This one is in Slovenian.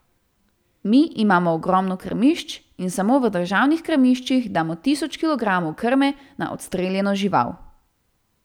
Mi imamo ogromno krmišč, in samo v državnih krmiščih damo tisoč kilogramov krme na odstreljeno žival.